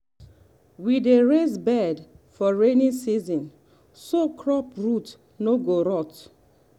we dey raise bed for rainy season so crop root no go rot.